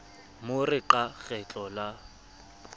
mo re qa kgetlo la